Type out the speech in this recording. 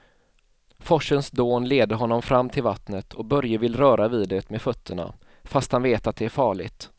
Forsens dån leder honom fram till vattnet och Börje vill röra vid det med fötterna, fast han vet att det är farligt.